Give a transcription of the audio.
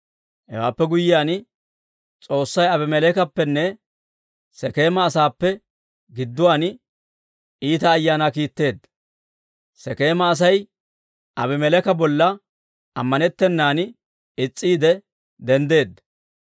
Hewaappe guyyiyaan, S'oossay Abimeleekappenne Sekeema asaappe gidduwaan iita ayaanaa kiitteedda; Sekeema Asay Aabimeleeka bolla amanetenaan is's'iide denddeedda.